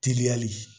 Teliyali